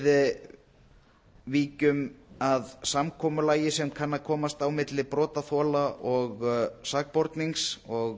við víkjum að samkomulagi sem kann að komast á milli brotaþola og sakbornings og